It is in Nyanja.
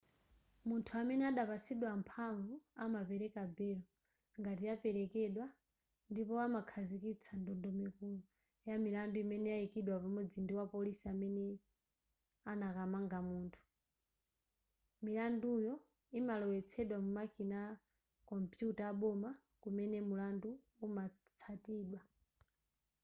munthu amene adapatsidwa mphamvu amapereka belo ngati yapelekedwa ndipo amakhazikitsa ndondomeko ya milandu imene yayikidwa pamodzi ndi wapolisi amene anakamanga munthu milanduyo imalowetsedwa mu makina a kompuyuta aboma kumene mulandu umatsatidwa